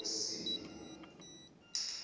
wesimo